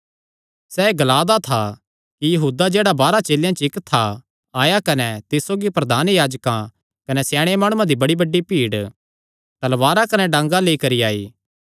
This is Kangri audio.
सैह़ एह़ ग्ला दा था कि यहूदा जेह्ड़ा बारांह चेलेयां च इक्क था आया कने तिस सौगी प्रधान याजकां कने स्याणे माणुआं दी बड्डी भीड़ तलवारां कने डांगा लेई करी आई